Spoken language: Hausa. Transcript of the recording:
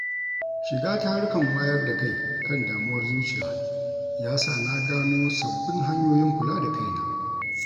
Shiga tarukan wayar da kai kan damuwar zuciya ya sa na gano sabbin hanyoyin kula da kaina.